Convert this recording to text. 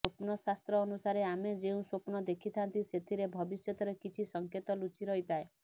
ସ୍ୱପ୍ନଶାସ୍ତ୍ର ଅନୁସାରେ ଆମେ ଯେଉଁ ସ୍ୱପ୍ନ ଦେଖିଥାନ୍ତି ସେଥିରେ ଭବିଷ୍ୟତର କିଛି ସଙ୍କେତ ଲୁଚି ରହିଥାଏ